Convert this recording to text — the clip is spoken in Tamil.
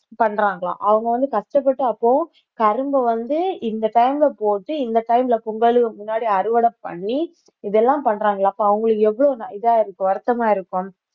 பண்றாங்களாம் அவங்க வந்து கஷ்டப்பட்டு அப்போ கரும்பை வந்து இந்த time அ போட்டு இந்த time ல பொங்கலுக்கு முன்னாடி அறுவடை பண்ணி இதெல்லாம் பண்றாங்களாம் அப்ப அவங்களுக்கு எவ்வளவு இதா இருக்கு வருத்தமா இருக்கும்